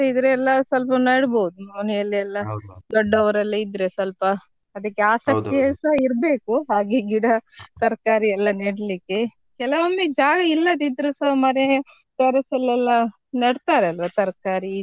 ಇದ್ರೆ ಎಲ್ಲ ಸ್ವಲ್ಪ ನಡ್ಬೋದು ಮನೇಲೆಲ್ಲ ದೊಡ್ಡವರೆಲ್ಲ ಇದ್ರೆ ಸ್ವಲ್ಪ ಅದಿಕ್ಕೆ ಆಶಕ್ತಿಸ ಇರ್ಬೇಕು ಹಾಗೆ ಗಿಡ ತರ್ಕಾರಿ ಎಲ್ಲ ನೆಡ್ಲಿಕ್ಕೆ ಕೆಲಮೊಮ್ಮೆ ಜಾಗ ಇಲ್ಲದಿದ್ರುಸ ಮನೆ terrace ಅಲ್ಲೆಲ್ಲ ನೆಡ್ತಾರಲ್ವಾ ತರ್ಕಾರಿ.